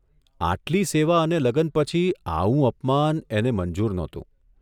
આટલી સેવા અને લગન પછી આવું અપમાન એને મંજૂર નહોતું.